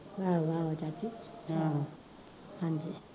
ਆਹੋ ਆਹੋ ਚਾਚੀ ਹਾਂਜੀ